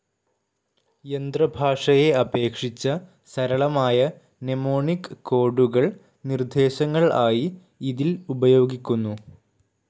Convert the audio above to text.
യന്ത്ര ഭാഷയെ അപേക്ഷിച്ച സരളമായ മ്നെമോണിക്‌ കോഡുകൾ നിർദ്ദേശങ്ങൾആയി ഇതിൽ ഉപയോഗികുന്നു..